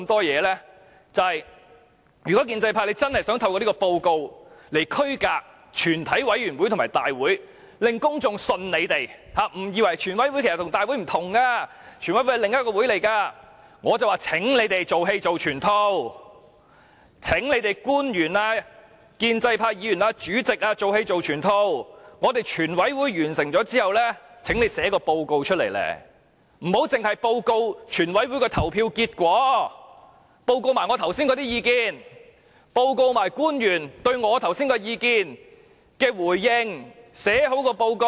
如果建制派真的想透過這份報告來區分全委會和大會，令公眾相信他們，誤以為全委會和大會不同，全委會是另一個會議，便請官員、建制派議員及主席"做戲做全套"，全委會完成審議後，請他們撰寫報告，不要只報告全委會的投票結果，亦要報告我剛才的意見，報告官員對我剛才的意見的回應。